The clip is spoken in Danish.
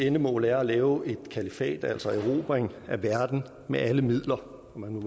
endemål er at lave et kalifat altså gennemføre en erobring af verden med alle midler man må